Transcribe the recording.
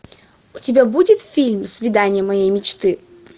у тебя будет фильм свидание моей мечты